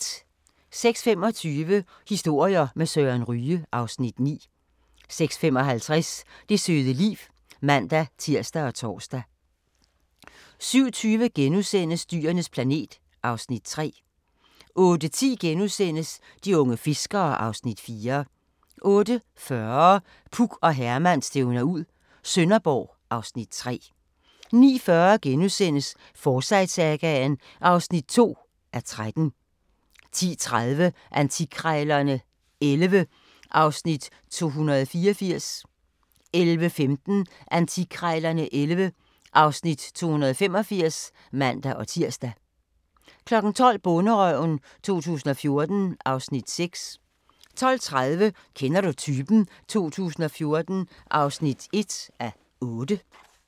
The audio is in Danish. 06:25: Historier med Søren Ryge (Afs. 9) 06:55: Det søde liv (man-tir og tor) 07:20: Dyrenes planet (Afs. 3)* 08:10: De unge fiskere (Afs. 4)* 08:40: Puk og Herman stævner ud - Sønderborg (Afs. 3) 09:40: Forsyte-sagaen (2:13)* 10:30: Antikkrejlerne XI (Afs. 284) 11:15: Antikkrejlerne XI (Afs. 285)(man-tir) 12:00: Bonderøven 2014 (Afs. 6) 12:30: Kender du typen? 2014 (1:8)